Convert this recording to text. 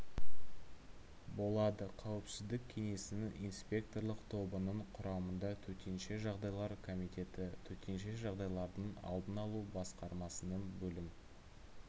болады қауіпсіздік кеңесінің инспекторлық тобының құрамында төтенше жағдайлар комитеті төтенше жағдайлардың алдын алу басқармасының бөлім